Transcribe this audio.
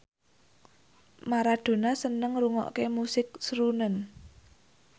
Maradona seneng ngrungokne musik srunen